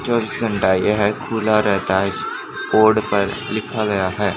चौबीस घंटा यह खुला रहता है कोड पर लिखा गया है।